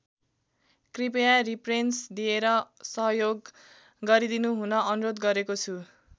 कृपया रिप्रेन्स दिएर सहयोग गरिदिनुहुन अनुरोध गरेको छु।